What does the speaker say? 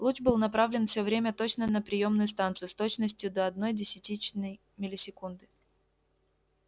луч был направлен все время точно на приёмную станцию с точностью до одной десятитысячной миллисекунды